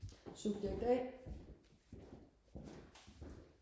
subjekt a